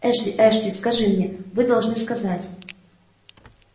эшли эшли скажи мне вы должны сказать